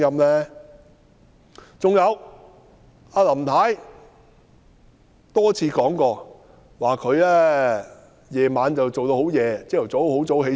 還有，林太多次提過，她工作至很晚，翌日又很早起身。